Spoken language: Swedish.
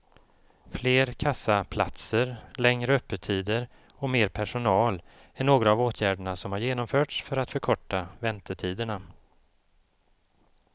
Fler kassaplatser, längre öppettider och mer personal är några av åtgärderna som har genomförts för att förkorta väntetiderna.